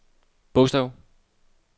bogstav